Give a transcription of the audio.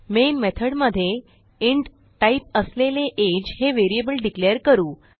main method मध्ये int type असलेले age हे व्हेरिएबल डिक्लेअर करू